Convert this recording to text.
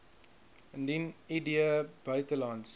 indien id buitelands